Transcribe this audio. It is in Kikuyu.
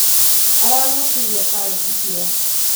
Aragucirie bangi ira.